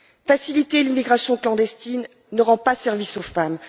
Faciliter l'immigration clandestine ne rend pas service aux femmes.